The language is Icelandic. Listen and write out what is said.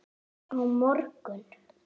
Á morgun